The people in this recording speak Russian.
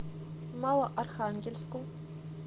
малоархангельску